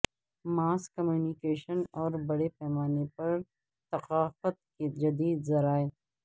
ماس communication اور بڑے پیمانے پر ثقافت کے جدید ذرائع